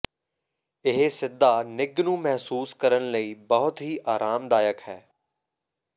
ਇਹ ਸਿੱਧਾ ਨਿੱਘ ਨੂੰ ਮਹਿਸੂਸ ਕਰਨ ਲਈ ਬਹੁਤ ਹੀ ਆਰਾਮਦਾਇਕ ਹੈ